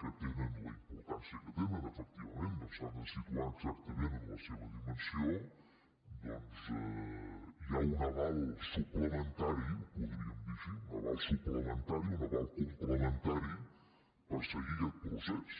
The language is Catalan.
que tenen la importància que tenen efectivament ja que s’han de situar exactament en la seva dimensió doncs hi ha un aval suplementari ho podríem dir així un aval complementari per seguir aquest procés